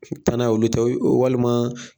tannan ye olu ta ye walima